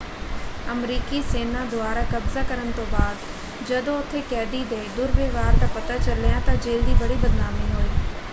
ਅਮਰੀਕੀ ਸੇਨਾ ਦੁਆਰਾ ਕਬਜ਼ਾ ਕਰਨ ਤੋਂ ਬਾਅਦ ਜਦੋਂ ਉੱਥੇ ਕੈਦੀ ਦੇ ਦੁਰਵਿਵਹਾਰ ਦਾ ਪਤਾ ਚੱਲਿਆ ਤਾਂ ਜੇਲ ਦੀ ਬੜੀ ਬਦਨਾਮੀ ਹੋਈ।